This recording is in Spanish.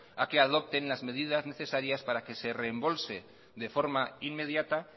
a que adopten las medidas necesarias para que se reembolse de forma inmediata